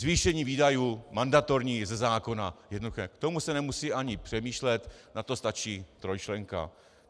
Zvýšení výdajů mandatorních ze zákona, jednoduché, k tomu se nemusí ani přemýšlet, na to stačí trojčlenka.